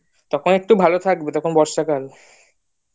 তখন একটু ভালো থাকবে তখন একটু বর্ষাকাল